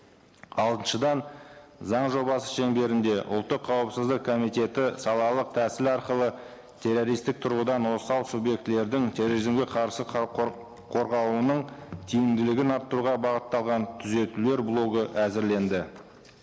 алтыншыдан заң жобасы шеңберінде ұлттық қауіпісіздік комитеті салалық тәсіл арқылы террористік тұрғыдан осал субъектілердің терроризмге қарсы халық қорғауының тиіміділігін арттыруға бағытталған түзетулер блогы әзірленді